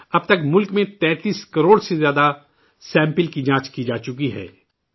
اب تک ملک میں 33 کروڑ سے زیادہ نمونوں کی جانچ کی جا چکی ہے